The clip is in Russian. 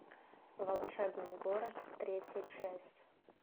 волшебный город третья часть